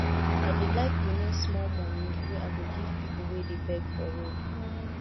i dey like remain small moni wey i go give pipu wey dey beg for road